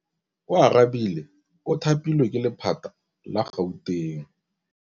Oarabile o thapilwe ke lephata la Gauteng.